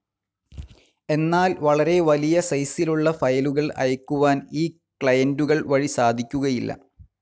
എന്നാൽ വളരെ വലിയ സൈസിലുള്ള ഫയലുകൾ അയക്കുവാൻ ഈ ക്ലയൻ്റുകൾ വഴി സാധിക്കുകയില്ല.